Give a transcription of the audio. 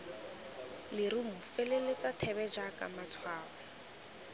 lerumo feleletsa thebe jaaka matshwao